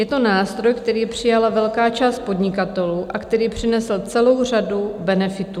Je to nástroj, který přijala velká část podnikatelů a který přinesl celou řadu benefitů.